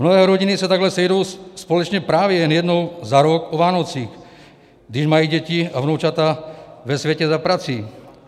Mnohé rodiny se takhle sejdou společně právě jen jednou za rok o Vánocích, když mají děti a vnoučata ve světě za prací.